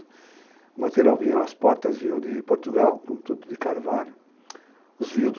O material vinha, as portas vinham de Portugal, tudo de carvalho. Os